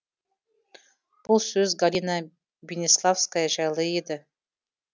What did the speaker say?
бұл сөз галина бениславская жайлы еді